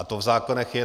A to v zákonech je.